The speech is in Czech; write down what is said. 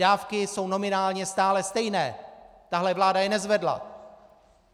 Dávky jsou nominálně stále stejné, tahle vláda je nezvedla!